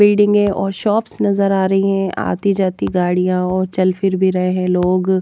building हैऔर shops नजर आ रही हैं आती जाती गाड़ियां और चल फिर भी रहे हैं लोग--